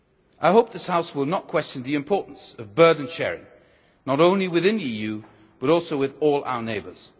Turkey. I hope this House will not question the importance of burden sharing, not only within the EU but also with all our neighbours.